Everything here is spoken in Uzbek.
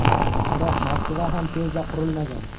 Biroq Moskva ham tezda qurilmagan.